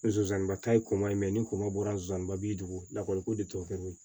Zonzani ba ta ye komɔ ye ni ko ma bɔra zonzannin ba bi dugu la ko de tɔ kɛ n bolo ye